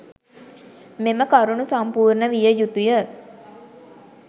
මෙම කරුණු සම්පූර්ණ විය යුතුය.